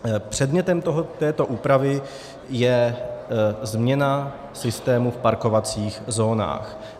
Předmětem této úpravy je změna systému v parkovacích zónách.